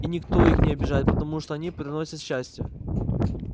и никто их не обижает потому что они приносят счастье